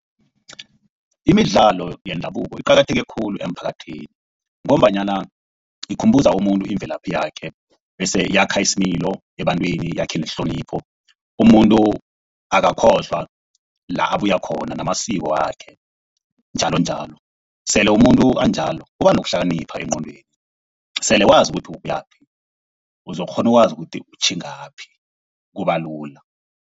Imidlalo yendabuko iqakatheke khulu emphakathini ngombanyana ikhumbuza umuntu imvelaphi yakhe bese yakha isimilo ebantwini, yakhe nehlonipho. Umuntu akakhohlwa la abuya khona namasiko wakhe njalonjalo. Sele umuntu anjalo uba nokuhlakanipha engqondweni, sele wazi ukuthi ubuyaphi uzokukghona ukwazi ukuthi utjhingaphi kubalula.